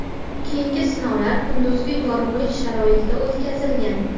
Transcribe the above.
Keyingi sinovlar kunduzgi yorug‘lik sharoitida o‘tkazilgan.